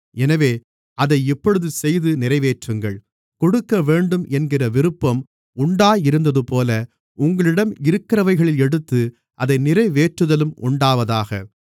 எனவே அதை இப்பொழுது செய்து நிறைவேற்றுங்கள் கொடுக்கவேண்டும் என்கிற விருப்பம் உண்டாயிருந்ததுபோல உங்களிடம் இருக்கிறவைகளில் எடுத்து அதை நிறைவேற்றுதலும் உண்டாவதாக